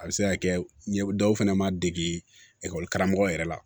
A bɛ se ka kɛ ɲɛ dɔw fɛnɛ ma degi ekɔli karamɔgɔ yɛrɛ la